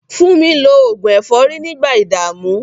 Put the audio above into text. Fúnmi lo oògùn ẹ̀fọ́rí nígbà ìdààmú.